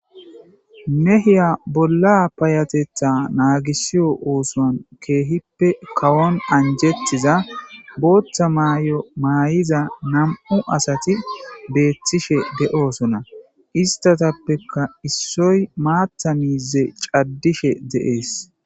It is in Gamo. mehiya bolla payatetha naagisiyo oosoan keehippe kawon anjetiza booththa maay7o maay7iza nam7u asati beethtishe de7oosona istatappeka issoy maatta miize caddishe de7ees